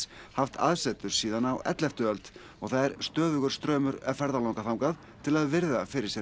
haft aðsetur síðan á elleftu öld og það er stöðugur straumur ferðalanga þangað til að virða fyrir sér